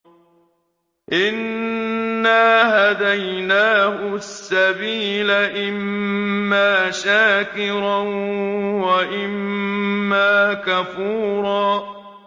إِنَّا هَدَيْنَاهُ السَّبِيلَ إِمَّا شَاكِرًا وَإِمَّا كَفُورًا